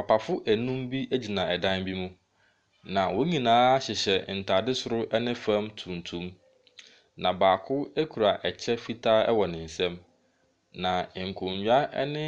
Papafo anum bi gyina dan bi mu, na wɔn nyinaa hyehyɛ ntade soro ne fam tuntum, na baako kura kyɛ fitaa wɔ ne nsam, na nkonnwa ne